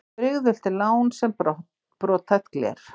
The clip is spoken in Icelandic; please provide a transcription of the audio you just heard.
Brigðult er lán sem brothætt gler.